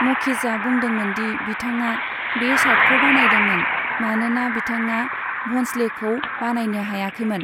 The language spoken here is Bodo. मखीजआ बुंदोंमोन दि बिथाङा बे सार्टखौ बानायदोंमोन, मानोना बिथाङा भ'न्सलेखौ बानायनो हायाखैमोन।